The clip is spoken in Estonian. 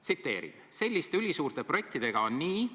Tsiteerin: "Üldiselt on selliste ülisuurte projektidega nii,